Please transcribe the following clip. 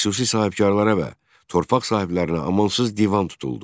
Xüsusi sahibkarlara və torpaq sahiblərinə amansız divan tutuldu.